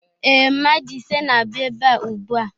Ee, mmadụ ise na-abịa ebe a ugbua.